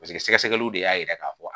Paseke sɛgɛsɛgɛliw de y'a yira k'a fɔ